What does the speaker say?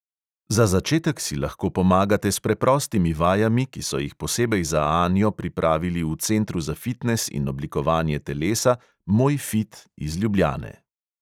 Za začetek si lahko pomagate s preprostimi vajami, ki so jih posebej za anjo pripravili v centru za fitnes in oblikovanje telesa moj fit iz ljubljane.